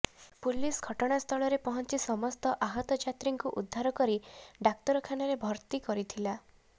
police ଘଟଣାସ୍ଥଳରେ ପହଞ୍ଚି ସମସ୍ତ ଆହତ ଯାତ୍ରୀଙ୍କୁ ଉଦ୍ଧାର କରି ଡାକ୍ତରଖାନାରେ ଭର୍ତ୍ତି କରିଥିଲା